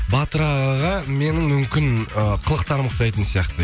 батыр ағаға менің мүмкін э қылықтарым ұқсайтын сияқты